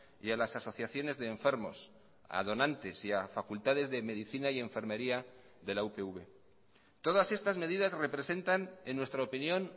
y a las asociaciones de enfermos a donantes y a facultades de medicina y enfermería de la upv todas estas medidas representan en nuestra opinión